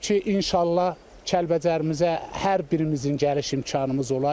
Odur ki, inşallah Kəlbəcərimizə hər birimizin gəliş imkanımız olar.